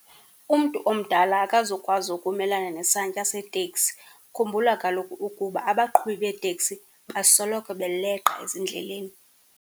Umntu omdala akazukwazi ukumelana nesantya seteksi. Khumbula kaloku ukuba abaqhubi beeteksi basoloko beleqa ezindleleni.